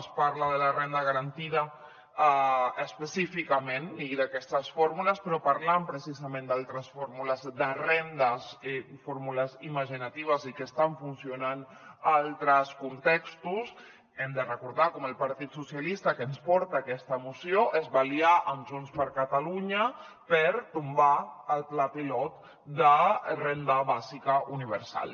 es parla de la renda garantida específicament i d’aquestes fórmules però parlant precisament d’altres fórmules de rendes fórmules imaginatives i que estan funcionant a altres contextos hem de recordar com el partit socialistes que ens porta aquesta moció es va aliar amb junts per catalunya per tombar el pla pilot de la renda bàsica universal